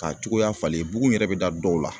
Ka cogoya falen ;bugun yɛrɛ bɛ da dɔw la.